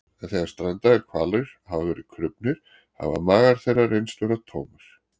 en þegar strandaðir hvalir hafa verið krufnir hafa magar þeirra reynst vera tómir